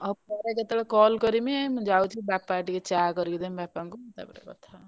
ଆଉ ପରେ କେତେବେଳେ? call କରିମି ମୁଁ ଯାଉଛି ବାପାଙ୍କୁ ଟିକେ ଚାଆ କରିକି ଦେବି ବାପାଙ୍କୁ ତାପରେ କଥାବାର୍ତା।